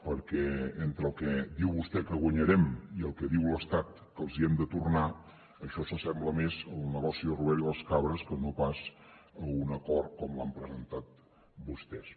perquè entre el que diu vostè que guanyarem i el que diu l’estat que els hem de tornar això s’assembla més al negoci de robert i les cabres que no pas a un acord com l’han presentat vostès